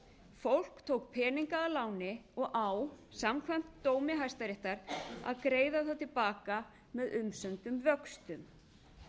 fólk tók peninga að láni og á samkvæmt dómi hæstaréttar að greiða það til baka allt með umsömdum vöxtum